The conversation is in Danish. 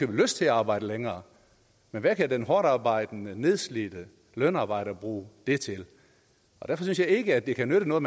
har lyst til at arbejde længere men hvad kan den hårdtarbejdende nedslidte lønarbejder bruge det til derfor synes jeg ikke at det kan nytte noget